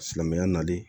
Silamɛya nali